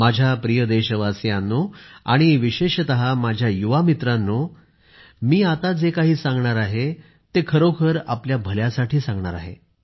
माझ्या प्रिय देशवासियांनो आणि विशेषतः माझ्या युवा मित्रांनो मी आता जे काही सांगणार आहे ते खरोखर आपल्या भल्यासाठी सांगणार आहेत